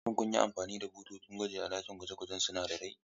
Shin kun yi amfani da bututun gwaji a cikin ɗakin gwaje-gwajen sinadarai?